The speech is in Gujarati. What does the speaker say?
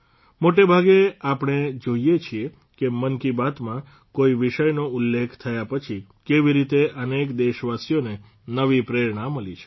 મોટે ભાગે આપણે જોઇએ છીએ કે મન કી બાતમાં કોઇ વિષયનો ઉલ્લેખ થયા પછી કેવી રીતે અનેક દેશવાસીઓને નવી પ્રેરણા મળી છે